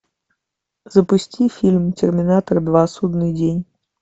запусти фильм терминатор два судный день